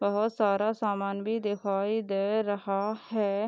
पे बहोत सारा सामान भी दिखाई दे रहा है।